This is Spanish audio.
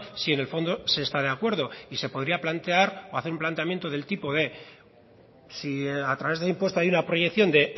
si en el fondo se está de acuerdo y se podría plantear o hacer un planteamiento del tipo de si a través del impuesto hay una proyección de